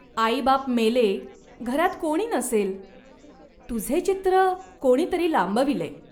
आईबाप मेले, घरात कोणी नसेल. तुझे चित्र कोणी तरी लांबविले.